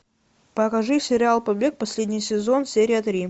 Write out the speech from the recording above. покажи сериал побег последний сезон серия три